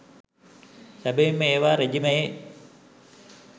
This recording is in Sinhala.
සැබවින්ම ඒවා රෙජීමයේ